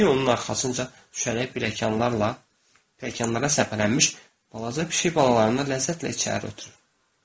Pişik onun arxasınca düşərək pilləkanlarla, pilləkanlara səpələnmiş balaca pişik balalarını ləzzətlə içəri ötürdü.